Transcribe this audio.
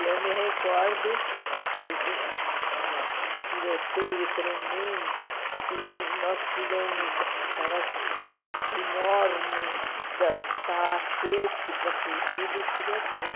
E eu me recordo que teve uma um tiroteio tremendo e nós pulamos aquelas grades enormes da dos palacetes para fugir do tiroteio.